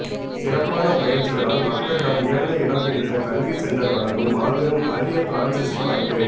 சிறப்பான பயிற்சிகளால் மக்களிடம் உயர்ந்த இடம் பிடித்த கல்வி சென்டர் வழங்கும் மாபெரும் அரிய பிரான்சஸி வாய்ப்பு